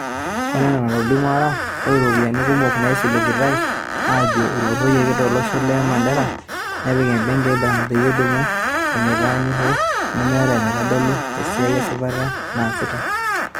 Oree enaa enetolimutuo ARA, Ore iropiyiani kumok naaisiligitay aajo etupuroyoki to loshoo le Mandera nepiki ebenki e ibrahim peyie elimu eneitayunye hoo nemeeta enaitodolu esiai esipataa naasita.